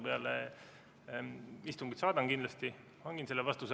Peale istungit hangin selle vastuse ja saadan kindlasti.